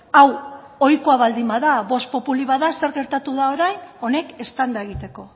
hau ohiko baldin bada vox populi bada zer gertatu da orain honek eztanda egiteko